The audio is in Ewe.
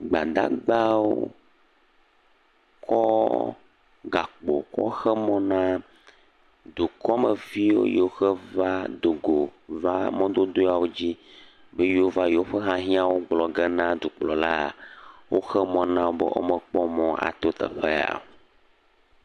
Gbadagbawo kɔ gakpo kɔ xe me na dukɔmevi yiwo ke va dogo va mɔdodoa dzi be yewo va yewo ƒe hiahiãwo gblɔ ge na dukplɔla. Woxe mɔ na wo be womekpɔ mɔ ato teƒe ya o.